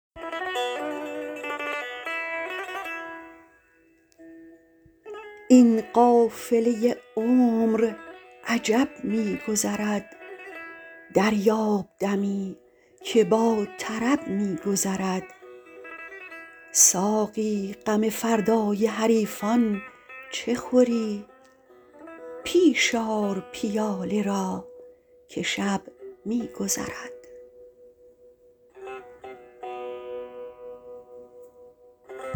این قافله عمر عجب می گذرد دریاب دمی که با طرب می گذرد ساقی غم فردای حریفان چه خوری پیش آر پیاله را که شب می گذرد